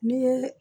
Ni ye